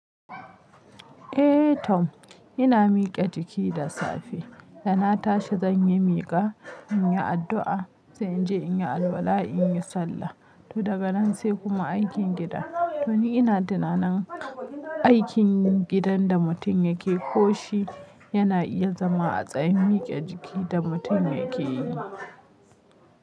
Eh Tom, ina mike jiki da safe, da na tashi zan yi mika, in yi addu'a, sai in je in yi alwala, in yi sallah. To daga nan sai kuma aikin gida. To ni ina tunanin aikin gidan da mutum yake ko shi yana iya zama a tsayin mike jiki da mutum yake yi.